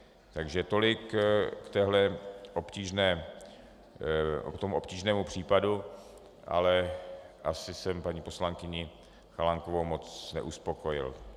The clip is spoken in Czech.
Takže tolik k tomuhle obtížnému případu, ale asi jsem paní poslankyni Chalánkovou moc neuspokojil.